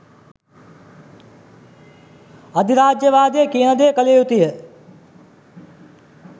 අධිරාජ්‍යවාදය කියන දේ කළ යුතුය